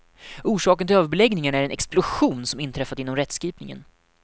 Orsaken till överbeläggningarna är den explosion som inträffat inom rättskipningen.